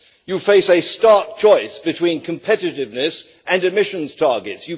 You face a stark choice between competitiveness and emissions targets.